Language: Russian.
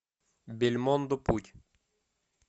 бельмондо путь